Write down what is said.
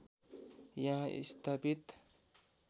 यहाँ स्थापित